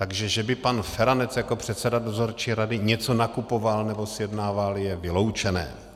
Takže že by pan Feranec jako předseda dozorčí rady něco nakupoval nebo sjednával, je vyloučené.